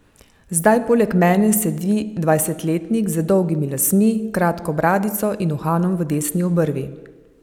Zdaj poleg mene sedi dvajsetletnik z dolgimi lasmi, kratko bradico in uhanom v desni obrvi.